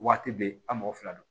Waati bɛɛ an mɔgɔ fila do